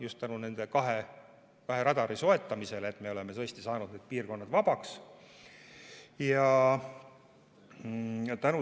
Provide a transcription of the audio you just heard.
Just tänu nende kahe radari soetamisele me oleme saanud need piirkonnad vabaks.